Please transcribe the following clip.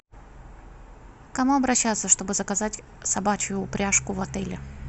к кому обращаться чтобы заказать собачью упряжку в отеле